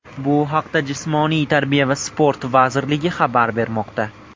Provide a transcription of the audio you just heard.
Bu haqda Jismoniy tarbiya va sport vazirligi xabar bermoqda .